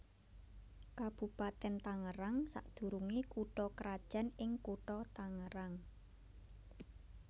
Kabupatèn Tangerang sadurungé kutha krajan ing Kutha Tangerang